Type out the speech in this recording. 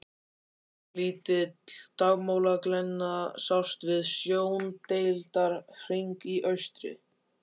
Ofurlítil dagmálaglenna sást við sjóndeildarhring í austri.